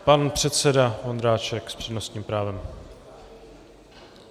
Pan předseda Vondráček s přednostním právem.